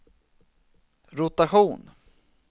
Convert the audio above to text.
rotation